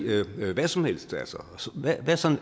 hvad som helst